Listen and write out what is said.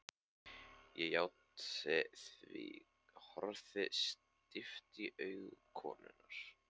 Ég játti því, horfði stíft í augu konunnar.